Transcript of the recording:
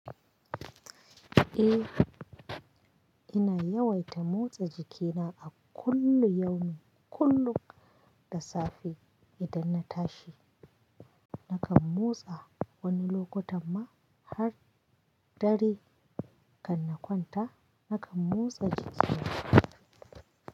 Eh, ina yawaita motsa jikina a kulli yau min kullun da safe idan na tashi nakan motsa wani lokutan ma har dare kan na kwanta nakan motsa jikina.